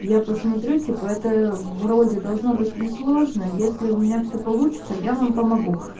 я посмотрю типа это вроде должно быть несложно если у меня все получится я вам помогу